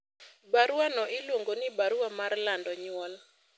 baruano iluongo ni barua mar lando nyuol